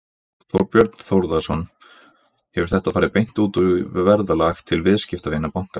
Þorbjörn Þórðarson: Hefur þetta farið beint út í verðlag til viðskiptavina bankans?